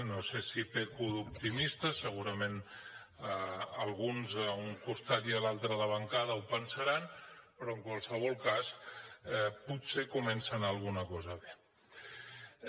no sé si peco d’optimista segurament alguns a un costat i l’altre de la bancada ho pensaran però en qualsevol cas potser comença a anar alguna cosa bé